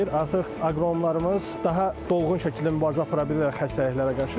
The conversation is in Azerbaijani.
Artıq aqronomlarımız daha dolğun şəkildə mübarizə apara bilirlər xəstəliklərə qarşı.